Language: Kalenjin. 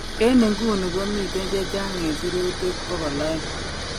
En inguni komiten chechang en sirutiik 200